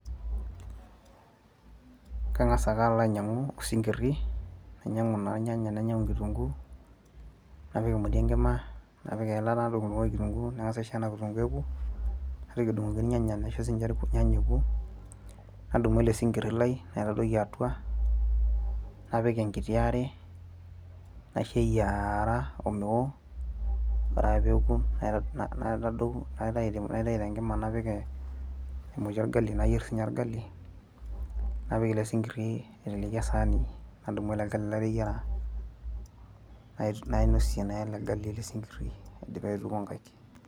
Kang'as ake alainyang'u isinkirri, nainyang'u naa ilnyanya[csnainyang'u  kitunguu, napik emoti enkima napik eilata nadung'dung'oki  kitunguu nang'as aisho ena kitunguu eoku, naitoki adung'oki ilnyanya naisho siinje ilnyanya eoku, nadumu ele sinkirr lai naitadoiki atua, napik enkitiare, naishoeyiaara omeo oreake peoku [na] naitayu tenkima napik emoti  olgali nayierr siinye orgali napik ele sinkirri aiteleki  esaani nadumu ele gali lateyiera nai nainosie naa ele gali ele sinkirri aidipa aituku nkaik.